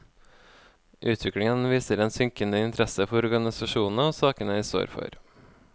Utviklingen viser en synkende interesse for organisasjonene og sakene de står for.